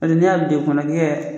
Paseke n'i y'a